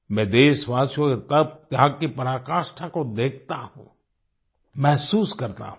मैं देशवासियों के तपत्याग की पराकाष्ठा को देखता हूँ महसूस करता हूँ